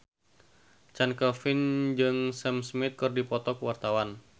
Chand Kelvin jeung Sam Smith keur dipoto ku wartawan